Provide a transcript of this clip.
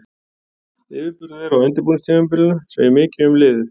Yfirburðir þeirra á undirbúningstímabilinu segir mikið um liðið.